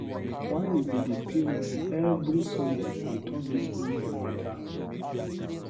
Why we go dey pay moni every Sunday on top dis project mata?